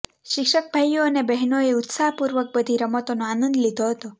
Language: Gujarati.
શિક્ષક ભાઈઓ અને બહેનો એ ઉત્સાહપૂર્વક બધી રમતોનો આનંદ લીધો હતો